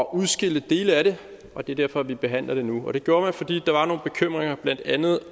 udskille dele af det og det er derfor vi behandler det nu og det gjorde man fordi der var nogle bekymringer om blandt andet